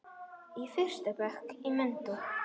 Í fyrsta bekk í menntó.